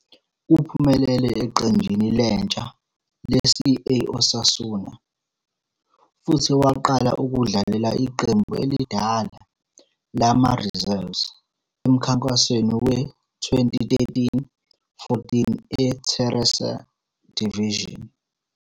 Uphumelele eqenjini lentsha le-CA Osasuna, futhi waqala ukudlalela iqembu elidala lama-reserves emkhankasweni we-2013-14 e-Tercera División.